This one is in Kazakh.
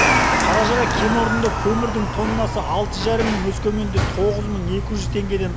қаражыра кен орнында көмірдің тоннасы алты жарым мың өскеменде тоғыз мың екі жүз теңгеден